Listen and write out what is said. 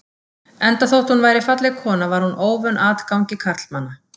Enda þótt hún væri falleg kona var hún óvön atgangi karlmanna.